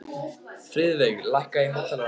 Friðveig, lækkaðu í hátalaranum.